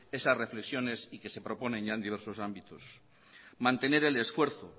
esas reflexiones y que se proponen ya en diversos ámbitos mantener el esfuerzo